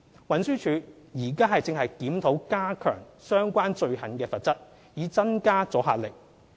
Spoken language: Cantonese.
運輸署現正檢討加強相關罪行的罰則，以增加阻嚇力。